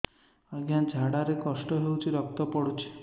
ଅଜ୍ଞା ଝାଡା ରେ କଷ୍ଟ ହଉଚି ରକ୍ତ ପଡୁଛି